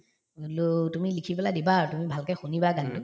বোলো তুমি লিখি পেলাই দিবা আৰু তুমি ভালকে শুনিবা গানতো